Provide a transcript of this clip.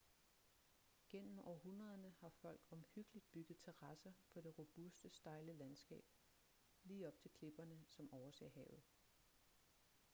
gennem århundrederne har folk omhyggeligt bygget terrasser på det robuste stejle landskab lige op til klipperne som overser havet